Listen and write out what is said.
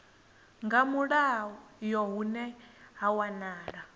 nga mulayo hune ha wanala